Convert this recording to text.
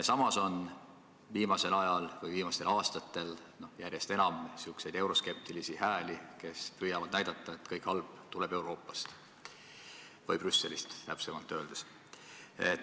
Samas on viimastel aastatel järjest enam kõlanud euroskeptikute hääli – püütakse näidata, et kõik halb tuleb Euroopast või täpsemini Brüsselist.